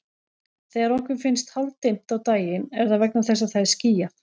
Þegar okkur finnst hálfdimmt á daginn er það vegna þess að það er skýjað.